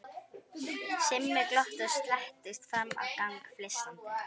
Simmi glotti og slettist fram á gang flissandi.